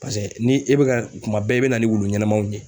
Paseke ni e bɛ ka kuma bɛɛ i bɛ na ni wulu ɲɛnamaw ye.